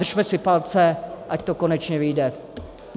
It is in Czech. Držme si palce, ať to konečně vyjde.